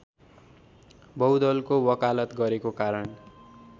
बहुदलको वकालत गरेको कारण